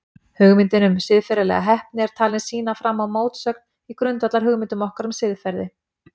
Hugmyndin um siðferðilega heppni er talin sýna fram á mótsögn í grundvallarhugmyndum okkar um siðferði.